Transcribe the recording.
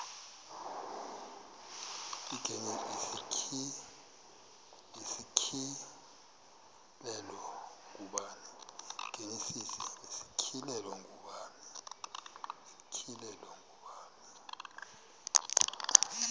igenesis isityhilelo ngubani